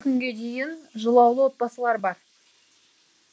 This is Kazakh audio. осы күнге дейін жылаулы отбасылар бар